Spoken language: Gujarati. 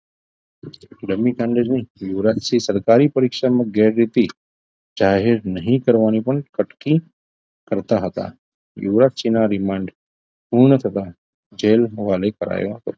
ડમી કાંડ બાબતે યુવરાજસિંહ સરકારી પરીક્ષામાં ગેરરીતી જાહેર નહીં કરવાની પણ કટકી કરતા હતા યુવરાજસિંહના રિમાન્ડ પૂર્ણ થતા જેલ હવાલે કરાયો હતો